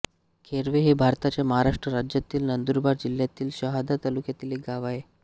खैरवे हे भारताच्या महाराष्ट्र राज्यातील नंदुरबार जिल्ह्यातील शहादा तालुक्यातील एक गाव आहे